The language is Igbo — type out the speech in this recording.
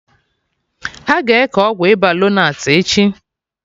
Aga eke Ọgwụ ịba lonart echi